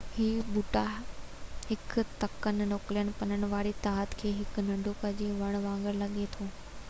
اهي ٻوٽا هڪ تکن نوڪيلن پنن واري تاج سان هڪ ننڍو کجي جي وڻ وانگر لڳي ٿو